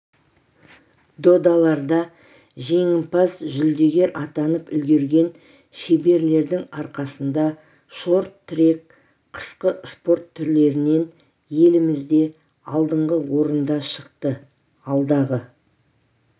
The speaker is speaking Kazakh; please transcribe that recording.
додаларда жеңімпаз-жүлдегер атанып үлгерген шеберлердің арқасында шорт-трек қысқы спорт түрлерінен елімізде алдыңғы орынға шықты алдағы